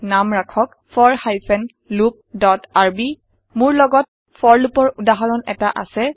নাম ৰাখক for hyphen loop dot R মোৰ লগত ফৰ লুপৰ উদাহৰণ এটা আছে